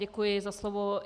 Děkuji za slovo.